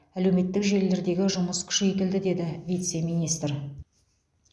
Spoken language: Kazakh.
әлеуметтік желілердегі жұмыс күшейтілді деді вице министр